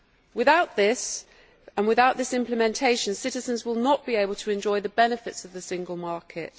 Without this, and without this implementation, citizens will not be able to enjoy the benefits of the single market.